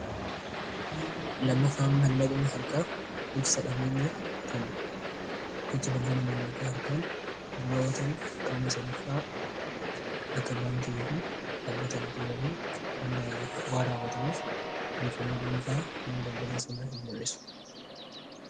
Lammaffaan maallaqni harkaa ibsa dhabeenyaatiin gocha daldala maallaqa harkaan raawwatamu qaama sadaffaa akka baankii ykn dhaabbata liqii maleen waan raawwatamuuf odeeffannoo dhuunfaa nama daldala sanaa hin mul'isu.